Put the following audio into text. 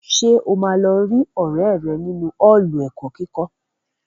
Ṣé o máa lọ rí ọrẹ rẹ nínu Ọ́ọ̀lù ẹ̀kọ́ kíkọ́?